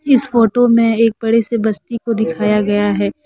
इस फोटो में एक बड़े से बस्ती को दिखाया गया है।